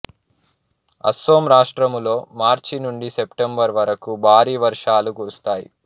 అసోం రాష్ట్రములో మార్చి నుండి సెప్టెంబరు వరకు భారీ వర్షాలు కురుస్తాయి